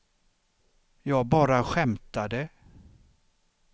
jag bara skämtade